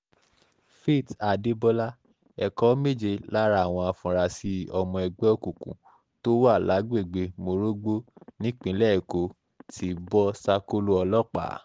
faith adébọlá ẹ̀kọ́ méje lára àwọn afurasí ọmọ ẹgbẹ́ òkùnkùn tó wà lágbègbè morogbo nípìnlẹ̀ èkó ti bọ́ sákò̩lọ ọlọ́pàá